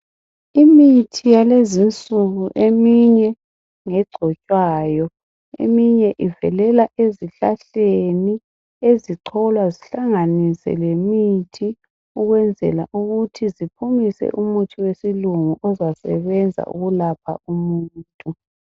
Imithi yalezinsuku eminye ngegcotshwayo. Eminye ivelela esihlahleni ezicholwa zihlanganiswe lemithi ukwenzela ukuthi ziphumise umuthi wesilungu ozasebenza ukulapha umuntu.